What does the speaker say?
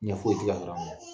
Ɲɛ foyi te ka